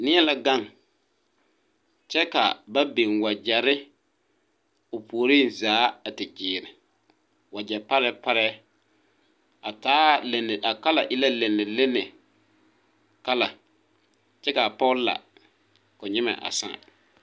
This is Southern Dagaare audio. Nie la gaŋ kyɛ kaa ba biŋ wagyɛrre o puoriŋ zaa a te gyiire wagyɛ parɛɛ parɛɛ a taa lene a kala e la lenelene kala kyɛ kaa poge la ko nyimɛ a sãã.